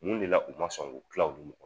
Mun de la u ma sɔn k'o tila u ni ɲɔgɔ